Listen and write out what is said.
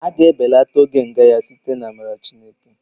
A ga-ebelata oge nga ya site n'amara Chineke